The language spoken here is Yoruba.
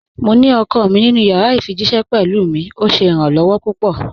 Mò ní ọkọ mi nínu yàrà ifijíṣẹ̀ pẹ̀lú mi, ọ̀ ṣé iràn-lọwọ̀ pupọ̀.